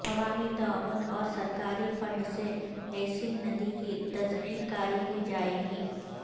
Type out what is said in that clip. عوامی تعاون اور سرکاری فنڈ سے عیسن ندی کی تزئین کاری کی جائیگی